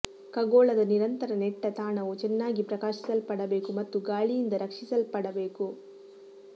ಖಗೋಳದ ನಿರಂತರ ನೆಟ್ಟ ತಾಣವು ಚೆನ್ನಾಗಿ ಪ್ರಕಾಶಿಸಲ್ಪಡಬೇಕು ಮತ್ತು ಗಾಳಿಯಿಂದ ರಕ್ಷಿಸಲ್ಪಡಬೇಕು